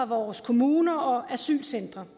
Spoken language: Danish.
vores kommuner og asylcentre